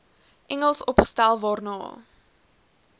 engels opgestel waarna